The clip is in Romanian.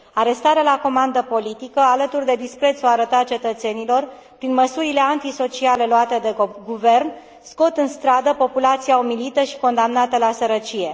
Arestarea la comandă politică, alături de disprețul arătat cetățenilor prin măsurile antisociale luate de guvern, scot în stradă populația umilită și condamnată la sărăcie.